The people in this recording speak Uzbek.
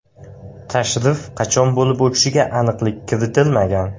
Tashrif qachon bo‘lib o‘tishiga aniqlik kiritilmagan.